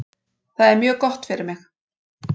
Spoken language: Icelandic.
Það er mjög gott fyrir mig.